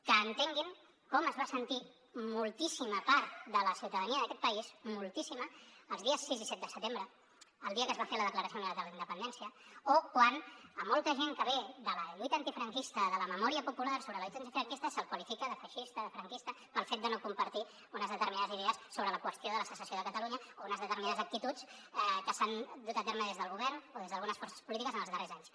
que entenguin com es va sentir moltíssima part de la ciutadania d’aquest país moltíssima els dies sis i set de setembre el dia que es va fer la declaració unilateral d’independència o quan a molta gent que ve de la lluita antifranquista de la memòria popular sobre la lluita antifranquista se’l qualifica de feixista de franquista pel fet de no compartir unes determinades idees sobre la qüestió de la secessió de catalunya o unes determinades actituds que s’han dut a terme des del govern o des d’algunes forces polítiques en els darrers anys